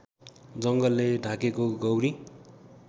जङ्गलले ढाकेको गौरी